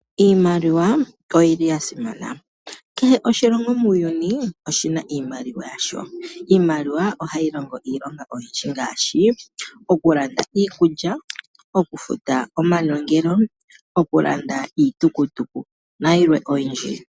Iimaliwa oyili ya simana. Kehe oshilongo muuyuni oshina iimaliwa yasho. Iimaliwa ohayi longo iilonga oyindji ngaashi oku landa iikulya, oku futa omanongelo, oku landa iitukutuku nayilwe oyindji.